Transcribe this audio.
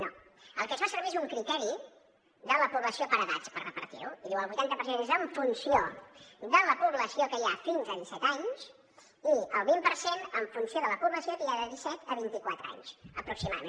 no el que es fa servir és un criteri de la població per edats per repartir ho i diu el vuitanta per cent és en funció de la població que hi ha fins a disset anys i el vint per cent en funció de la població que hi ha de disset a vint i quatre anys aproximadament